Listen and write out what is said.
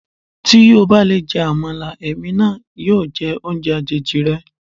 Tí o bá lè jẹ Àmàlà, èmi náà yóò jẹ oúnjẹ àjèjì rẹ.